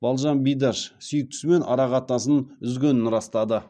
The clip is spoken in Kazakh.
балжан бидаш сүйіктісімен арақатынасын үзгенін растады